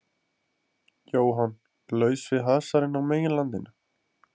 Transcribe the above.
Jóhann: Laus við hasarinn á meginlandinu?